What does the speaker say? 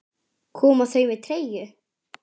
Koma þau með treyju?